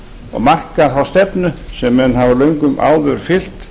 og marka þá stefnu sem menn hafa löngum áður fylgt